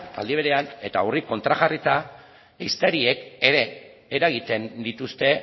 aldi berean eta horri kontrajarrita ehiztariek ere eragiten dituzte